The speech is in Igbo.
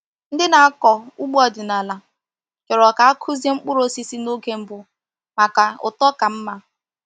Ndị na-akọ ugbo ọdịnala chọrọ ka a kụzie mkpụrụ osisi n’oge mbụ maka uto ka mma.